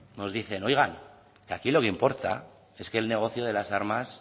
nos dicen oiga que aquí lo que importa es que el negocio de las armas